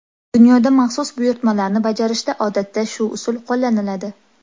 Dunyoda maxsus buyurtmalarni bajarishda odatda shu usul qo‘llaniladi.